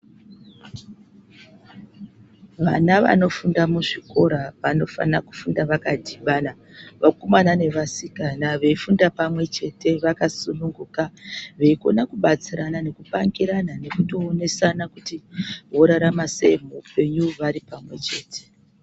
Vana vanofunda muzvikora vanofana kufunda vakachivala vakomana nevasikana vefunda pamwe chete vakasununguka vekona kubatsirana nekumakirana nekutoonesana kuti vorarama sei muhupenyu varipamwe chete.